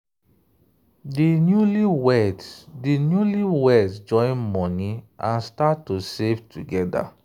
di newlyweds di newlyweds join money and start to save together.